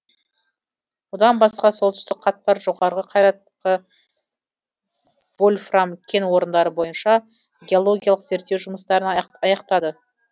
одан басқа солтүстік қатпар жоғарғы қайрақты вольфрам кен орындары бойынша геологиялық зерттеу жұмыстарын аяқтадық